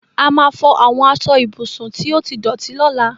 A máa fọ àwọn aṣọ ibùsùn tí ó ti dọ̀tí lọ́la.